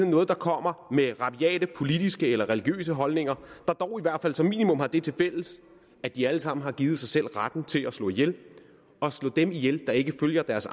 noget der kommer med rabiate politiske eller religiøse holdninger der dog i hvert fald som minimum har det tilfælles at de alle sammen har givet sig selv retten til at slå ihjel at slå dem ihjel der ikke følger deres